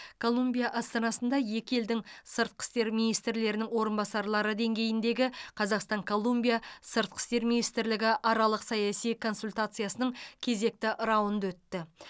колумбия астанасында екі елдің сыртқы істер министрлерінің орынбасарлары деңгейіндегі қазақстан колумбия сыртқы істер министрлігі аралық саяси консультациясының кезекті раунды өтті